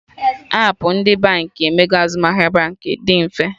Appụ ndị Baankị emego azụmahịa Baankị dị mfe